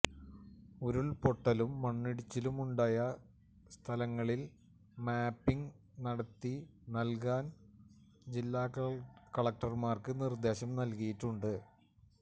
ഉരുള്പൊട്ടലും മണ്ണിടിച്ചിലും ഉണ്ടായ സ്ഥലങ്ങളില് മാപ്പിങ് നടത്തി നല്കാന് ജില്ലാ കളക്ടര്മാര്ക്ക് നിര്ദ്ദേശം നല്കിയിട്ടുണ്ട്